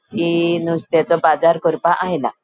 ती नुस्त्याचो बाजार करपा आयला.